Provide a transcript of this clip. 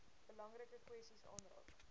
belangrike kwessies aanraak